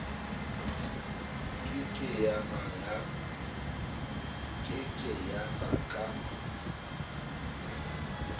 ke ke ya ba ka